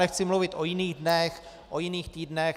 Nechci mluvit o jiných dnech, o jiných týdnech.